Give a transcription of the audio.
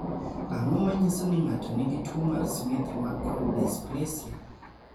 Ang�o ma nyiso ni ng�ato nigi tuo mar Smith McCort dysplasia?